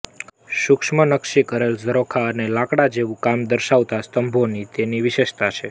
સૂક્ષ્મ નક્શી કરેલ ઝરોખા અને લાકડા જેવું કામ દર્શાવતા સ્તંભો તેની વિશેષતા છે